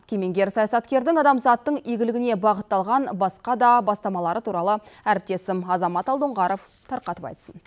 кемеңгер саясаткердің адамзаттың игілігіне бағытталған басқа да бастамалары туралы әріптесім азамат алдоңғаров тарқатып айтсын